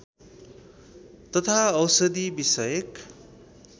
तथा औषधि विषयक